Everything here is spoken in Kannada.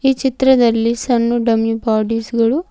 ಈ ಚಿತ್ರದಲ್ಲಿ ಸಣ್ಣು ಡಮ್ಮಿ ಬಾಡಿಸ್ ಗಳು--